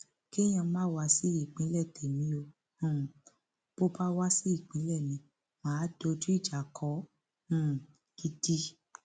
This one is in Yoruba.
kéèyàn má wá sí ìpínlẹ témi o um bó bá wá sí ìpínlẹ mi mà á dojú ìjà kọ ọ um gidi